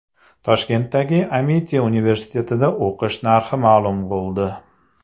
Toshkentdagi Amiti universitetida o‘qish narxi ma’lum bo‘ldi.